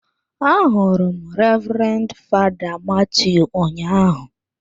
Ahụrụ m Reverend father Mathew ụnyahụ.